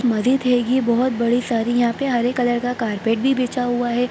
यहां पे हरे कलर का कारपेट भी बिछा हुआ है।